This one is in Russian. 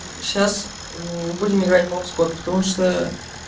ээ сейчас будем играть в бомбскотт потому что